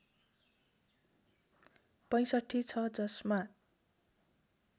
६५ छ जसमा